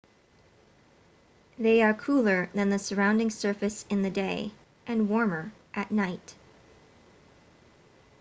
they are cooler than the surrounding surface in the day and warmer at night